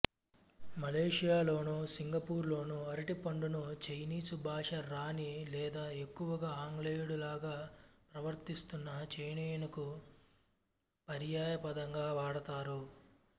మలేషియాలోనూ సింగపూరులోనూ అరటిపండును చైనీసు భాష రాని లేదా ఎక్కువగా ఆంగ్లేయుడిలాగా ప్రవర్తిస్తున్న చైనీయునికి పర్యాయపదంగా వాడతారు